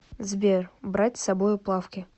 сбер брать с собою плавки